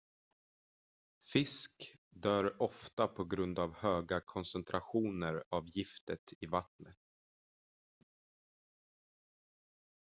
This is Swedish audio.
fisk dör ofta på grund av höga koncentrationer av giftet i vattnen